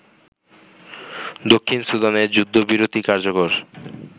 দক্ষিণ সুদানে যুদ্ধবিরতি কার্যকর